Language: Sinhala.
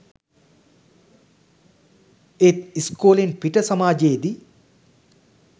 ඒත් ඉස්කෝලෙන් පිට සමාජයේ දී